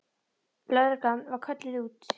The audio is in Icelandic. Lögreglan var kölluð út.